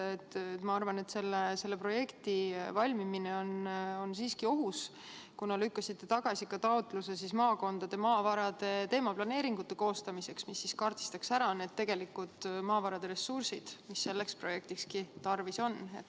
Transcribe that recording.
Ma arvan, et selle projekti valmimine on ohus, kuna te lükkasite tagasi taotluse maakondade maavarade teemaplaneeringute koostamiseks, mis kaardistaks ära maavarade ressursid, mida selleks projektiks on tarvis.